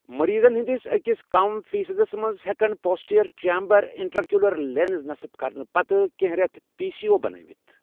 مٔریٖضن ہندِس أکِس کم فیٖصدس منٛز، ہیٚکن پوسٹییر چیمبرٕ اِنٹراکیوُلر لینس نصب كرنہٕ پتہٕ كینہہ ریتھ پی سی او بَنٲوِتھ ۔